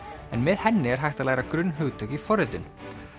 en með henni er hægt að læra grunnhugtök í forritun